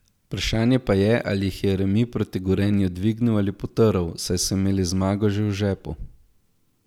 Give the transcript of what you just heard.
Vprašanje pa je, ali jih je remi proti Gorenju dvignil ali potrl, saj so imeli zmago že v žepu.